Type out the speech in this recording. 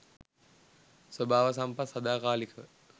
ස්වභාව සම්පත් සදාකාලිකව